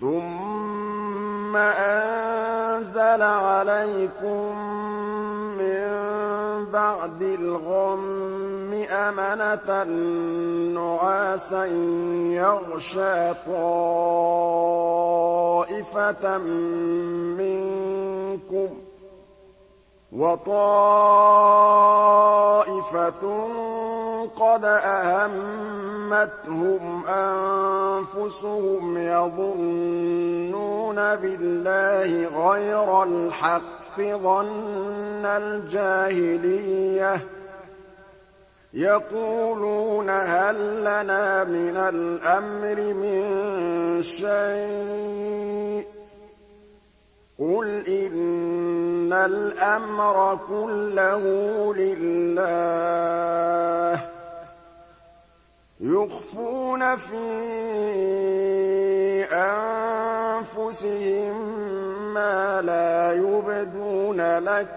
ثُمَّ أَنزَلَ عَلَيْكُم مِّن بَعْدِ الْغَمِّ أَمَنَةً نُّعَاسًا يَغْشَىٰ طَائِفَةً مِّنكُمْ ۖ وَطَائِفَةٌ قَدْ أَهَمَّتْهُمْ أَنفُسُهُمْ يَظُنُّونَ بِاللَّهِ غَيْرَ الْحَقِّ ظَنَّ الْجَاهِلِيَّةِ ۖ يَقُولُونَ هَل لَّنَا مِنَ الْأَمْرِ مِن شَيْءٍ ۗ قُلْ إِنَّ الْأَمْرَ كُلَّهُ لِلَّهِ ۗ يُخْفُونَ فِي أَنفُسِهِم مَّا لَا يُبْدُونَ لَكَ ۖ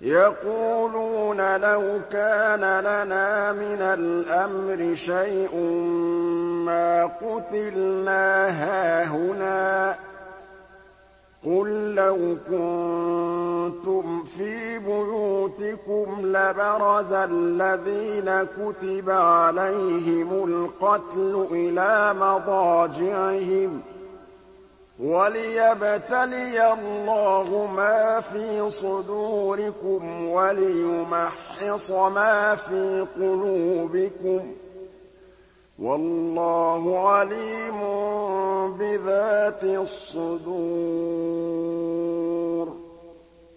يَقُولُونَ لَوْ كَانَ لَنَا مِنَ الْأَمْرِ شَيْءٌ مَّا قُتِلْنَا هَاهُنَا ۗ قُل لَّوْ كُنتُمْ فِي بُيُوتِكُمْ لَبَرَزَ الَّذِينَ كُتِبَ عَلَيْهِمُ الْقَتْلُ إِلَىٰ مَضَاجِعِهِمْ ۖ وَلِيَبْتَلِيَ اللَّهُ مَا فِي صُدُورِكُمْ وَلِيُمَحِّصَ مَا فِي قُلُوبِكُمْ ۗ وَاللَّهُ عَلِيمٌ بِذَاتِ الصُّدُورِ